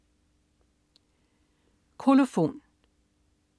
Kolofon